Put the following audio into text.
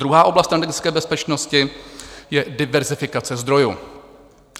Druhá oblast energetické bezpečnosti je diverzifikace zdrojů.